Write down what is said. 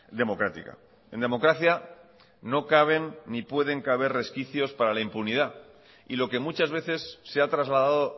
democrática en democracia no caben ni puede caber resquicios para la impunidad y lo que muchas veces se ha trasladado